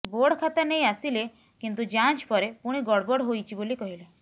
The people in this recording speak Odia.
ବୋର୍ଡ଼ ଖାତା ନେଇ ଆସିଲେ କିନ୍ତୁ ଯାଂଚ ପରେ ପୁଣି ଗଡ଼଼ବଡ଼ ହୋଇଛି ବୋଲି କହିଲେ